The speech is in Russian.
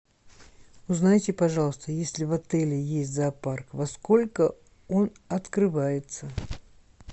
узнайте пожалуйста если в отеле есть зоопарк во сколько он открывается